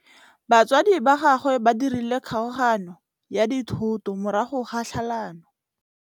Batsadi ba gagwe ba dirile kgaoganyô ya dithoto morago ga tlhalanô.